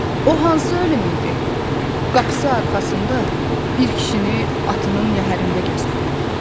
O hansı ölüm idi qapısı arxasında bir kişini atının yəhərində gözlədən.